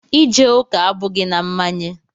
Ije ụka abụghị na mmanye.